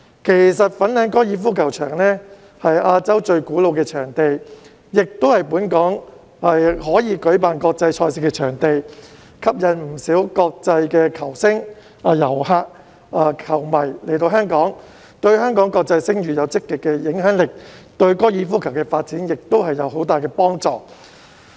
其實，粉嶺高爾夫球場是亞洲最古老的場地，亦是本港可以舉辦國際賽事的場地，吸引不少國際球星、遊客、球迷來香港，對香港國際聲譽有積極的影響力，對高爾夫球的發展亦有很大幫助。